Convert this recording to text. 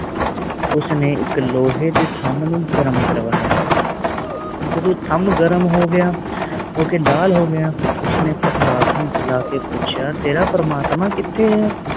ਉਸ ਨੇ ਇਕ ਲੋਹੇ ਦੇ ਥਾਮ ਨੂੰ ਗਰਮ ਕਰਵਾਯਾ ਜਦੋ ਥਾਮ ਗਰਮ ਹੋ ਗਯਾ ਹੋਕੇ ਲਾਲ ਹੋ ਗਯਾ ਉਸਨੇ ਪ੍ਰਹਲਾਦ ਨੂੰ ਬੁਲਾ ਕ ਪੁੱਛਿਆ ਤੇਰਾ ਪ੍ਰਮਾਤਮਾ ਕਿਥੇ ਆ